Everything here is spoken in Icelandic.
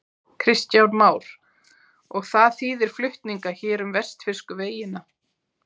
Kristján Már: Og það þýðir flutninga hér um vestfirsku vegina?